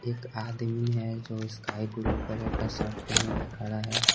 एक आदमी है जो स्काई ब्लू कलर का शर्ट पहने हुए खड़ा है।